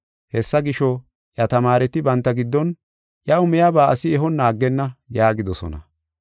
Hessa gisho, iya tamaareti banta giddon, “Iyaw miyaba asi ehonna aggenna” yaagidosona.